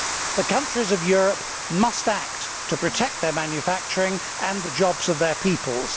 The countries of Europe must act to protect their manufacturing and the jobs of their peoples.